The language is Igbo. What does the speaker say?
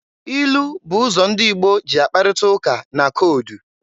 Ilu bụ ụzọ ndị Igbo ji akparịta ụka na koodu.